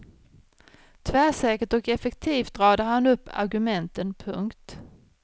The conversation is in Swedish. Tvärsäkert och effektivt radar han upp argumenten. punkt